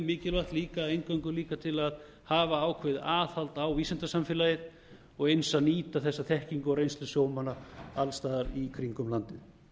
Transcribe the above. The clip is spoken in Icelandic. mikilvægt líka eingöngu líka til að hafa ákveðið aðhald á vísindasamfélagið og eins að nýta þessa þekkingu og reynslu sjómanna alls staðar í kringum landið